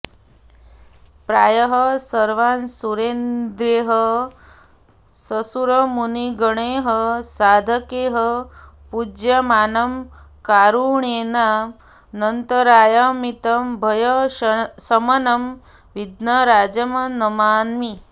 प्रायः सर्वासुरेन्द्रैः ससुरमुनिगणैः साधकैः पूज्यमानं कारुण्येनान्तरायामितभयशमनं विघ्नराजं नमामि